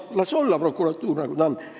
Las prokuratuur olla, nagu ta on.